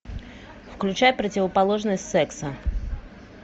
включай противоположность секса